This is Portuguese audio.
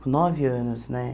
Com nove anos, né?